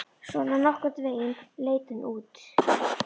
Svona nokkurn veginn leit hún út